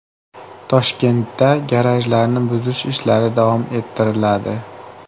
Toshkentda garajlarni buzish ishlari davom ettiriladi.